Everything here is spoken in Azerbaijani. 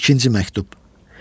İkinci məktub.